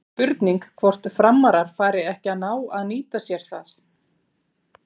Spurning hvort Framarar fari ekki að ná að nýta sér það?